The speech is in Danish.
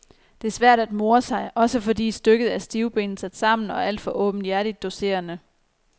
Det er svært at more sig, også fordi stykket er stivbenet sat sammen og alt for åbenhjertigt doserende.